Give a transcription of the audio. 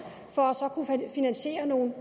for så at kunne finansiere nogle